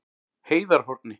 Heiðarhorni